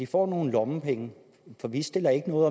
får nogle lommepenge for vi stiller ikke noget